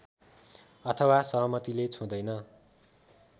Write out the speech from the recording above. अथवा सहमतिले छुँदैन